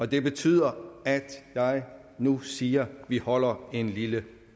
det betyder at jeg nu siger at vi holder en lille